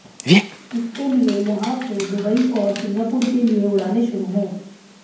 इसके लिए यहां से दुबई और सिंगापुर के लिए उड़ानें शुरू हों